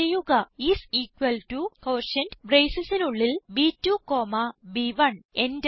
type ചെയ്യുക is equal to quotient bracesസിസിന് ഉള്ളിൽ ബ്2 കോമ ബ്1